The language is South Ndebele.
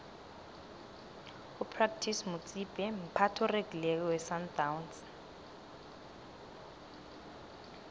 upratice motsipe mphathi oregileko wesandawnsi